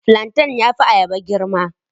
Flantain ya fi ayaba girma.